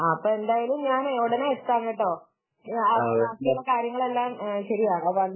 ആഹ് ഞാൻ എന്തായാലും ഉടനെ എത്താം കേട്ടോ ബാക്കിയുള്ള കാര്യങ്ങളൊക്കെ ശരിയാക്കാം